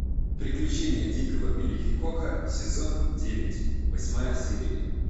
приключения дикого билла хикока сезон девять восьмая серия